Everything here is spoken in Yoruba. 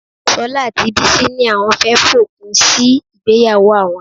Ṣọlá àti Bísí ní àwọn fẹ́ fòpin sí ìgbéyàwó àwọn